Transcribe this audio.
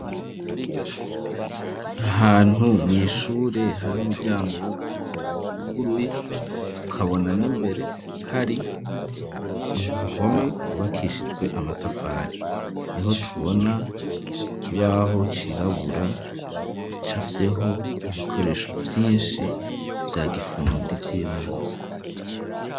ahantu mwishuri umuryango w'ubururu wuguruye tukabona n'imbere hari impome zubakishijwe amatafari, niho tubona ikibaho cirabura gicafyeho ibikoresho vyinshi vya gifundi vy'ibanze.